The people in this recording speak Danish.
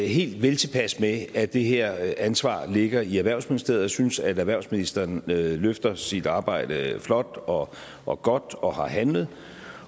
helt veltilpas med at det her ansvar ligger i erhvervsministeriet og jeg synes at erhvervsministeren løfter sit arbejde flot og og godt og har handlet